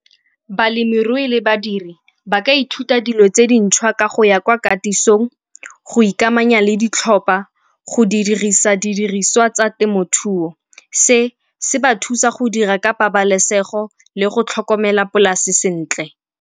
Balemirui le badiri ba ka ithuta dilo tse dintšhwa ka go ya kwa katisng, go ikamanya le ditlhopa, go dirisa didiriswa tsa temothuo. Se se ba thusa go dira ka pabalesego le go tlhokomela polase sentle.